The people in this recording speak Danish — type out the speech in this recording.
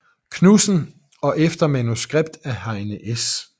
Knudsen og efter manuskript af Heine S